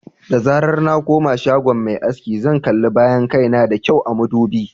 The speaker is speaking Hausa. Da zarar na koma shagon mai aski, zan kalli bayan kai na da kyau a madubi.